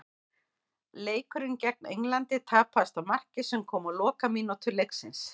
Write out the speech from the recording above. Leikurinn gegn Englandi tapaðist á marki sem kom á lokamínútu leiksins.